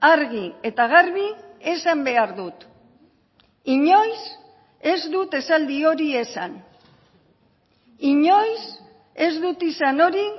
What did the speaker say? argi eta garbi esan behar dut inoiz ez dut esaldi hori esan inoiz ez dut izan hori